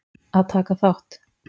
Að taka þátt